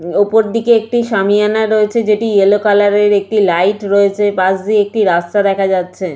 উ - ওপরদিকে একটি সামিয়ানা রয়েছে যেটি ইয়েলো কালার এর একটি লাইট রয়েছে পাশ দিয়ে একটি রাস্তা দেখা যাচ্ছে।